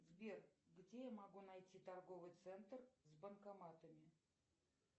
сбер где я могу найти торговый центр с банкоматами